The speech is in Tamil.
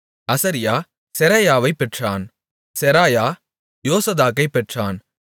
அசரியா செராயாவைப் பெற்றான் செராயா யோசதாக்கைப் பெற்றான்